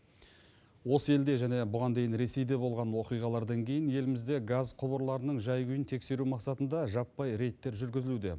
осы елде және бұған дейін ресейде болған оқиғалардан кейін елімізде газ құбырларының жай күйін тексеру мақсатында жаппай рейдтер жүргізілуде